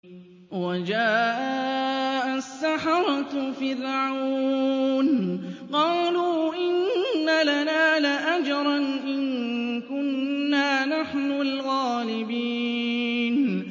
وَجَاءَ السَّحَرَةُ فِرْعَوْنَ قَالُوا إِنَّ لَنَا لَأَجْرًا إِن كُنَّا نَحْنُ الْغَالِبِينَ